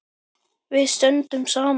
Við stöndum saman.